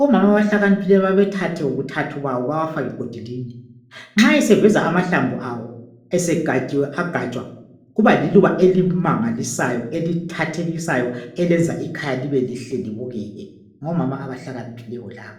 Omama abahlakaniphileyo bayawaththa bawafake godilinye nxa eseveza amahlamvu awo segatshiwe agatshwa kuba liluba elimangalisayo elithathekisayo elenza ikhaya libelihle libukeke. Ngomama abahlakaniphileyo labo.